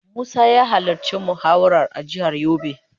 Musa ya halarci muhawarar a jihar yobe.